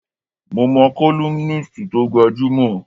Mo mo columnist tó gbajúmọ̀.